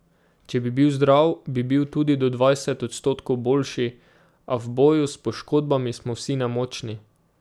Če bi bil zdrav, bi bil tudi do dvajset odstotkov boljši, a v boju s poškodbami smo vsi nemočni.